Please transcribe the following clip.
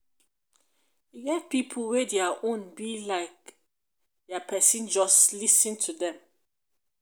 e get pipo wey dia own be like dia pesin just lis ten to dem